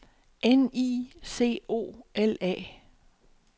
N I C O L A